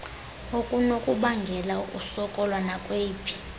okunokubangela ukusokola nakweyiphi